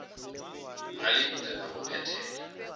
ga lebitla la go phethela